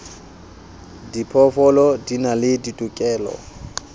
diphoofolo di na le ditokelo